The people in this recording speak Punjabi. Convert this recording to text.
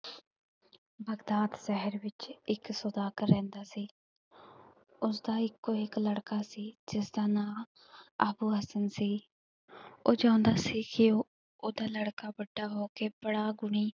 ਬਗਦਾਦ ਸ਼ਹਿਰ ਵਿਚ ਇਕ ਸੌਦਾਗਰ ਰਹਿੰਦਾ ਸੀ ਉਸਦਾ ਇੱਕੋ ਇਕ ਲੜਕਾ ਸੀ, ਜਿਸਦਾ ਨਾਂ ਅੱਬੂ ਹਸਨ ਸੀ ਉਹ ਚਾਹੁੰਦਾ ਸੀ ਕਿ ਉਹਦਾ ਲੜਕਾ ਵੱਡਾ ਹੋ ਕੇ ਬੜਾ ਗੁਣੀ,